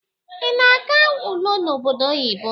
Ị na-aga ule n'obodo oyibo?